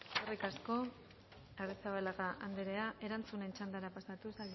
eskerrik asko arrizabalaga anderea erantzunen txandara pasatuz